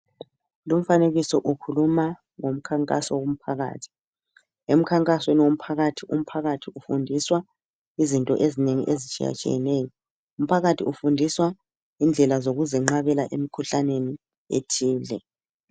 Lumfanekiso ukhuluma ngomkhankaso womphakathi. Emkhankasweni womphakathi umphakathi ufundiswa izinto ezinengi ezitshiyatshiyeneyo. Umphakathi ufundiswa indlela zokuzinqabela emikhuhlaneni ethile.